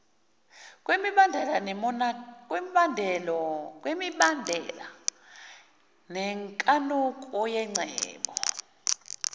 kwemibandela nenkanuko yengcebo